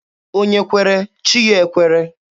Onye kwere, chi ya ekwere.